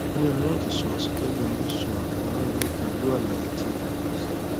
o nira lati sọ asọtẹlẹ orisun akoran yii pẹlu alaye ti a a pese